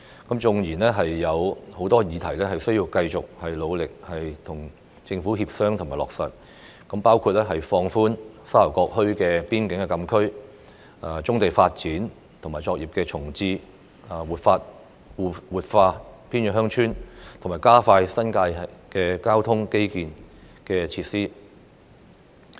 當然，仍有許多事項需要繼續努力地與政府協商，方可令相關政策得以落實，包括放寬沙頭角墟邊境禁區、發展棕地及重置作業、活化偏遠鄉村及加快新界交通基建設施。